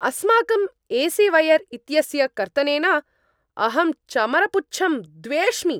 अस्माकम् A C wire इत्यस्य कर्तनेन अहं चमरपुच्छं द्वेष्मि।